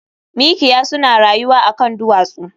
Mikiya suna rayuwa a kan duwatsu